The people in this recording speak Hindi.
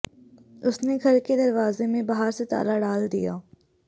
उसने घर के दरवाजे में बाहर से ताला डाल दिया